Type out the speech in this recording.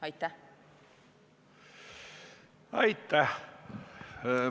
Aitäh!